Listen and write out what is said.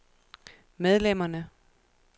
medlemmerne